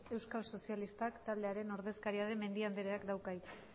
euskal sozialistak taldearen ordezkaria den mendia andreak dauka hitza